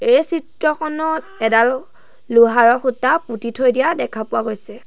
এই চিত্ৰখনত এডাল লোহাৰ খুঁটা পুতি থৈ দিয়া দেখা পোৱা গৈছে।